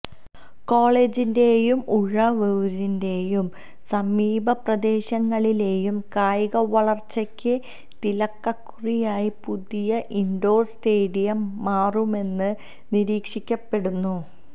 കോളേജിന്റെയും ഉഴവൂരിന്റെയും സമീപപ്രദേശങ്ങളിലേയും കായിക വളര്ച്ചയ്ക്ക് തിലകക്കുറിയായി പുതിയ ഇന്ഡോര് സ്റ്റേഡിയം മാറുമെന്ന് നിരീക്ഷിക്കപ്പെടുന്നു